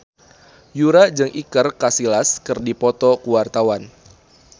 Yura jeung Iker Casillas keur dipoto ku wartawan